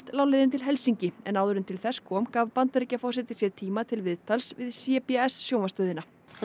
lá leiðin til Helsinki en áður en til þess kom gaf Bandaríkjaforseti sér tíma til viðtals við c b s sjónvarpsstöðina þar